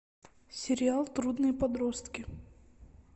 сериал трудные подростки